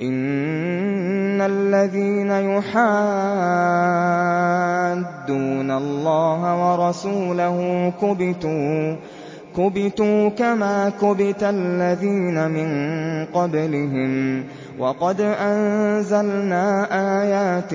إِنَّ الَّذِينَ يُحَادُّونَ اللَّهَ وَرَسُولَهُ كُبِتُوا كَمَا كُبِتَ الَّذِينَ مِن قَبْلِهِمْ ۚ وَقَدْ أَنزَلْنَا آيَاتٍ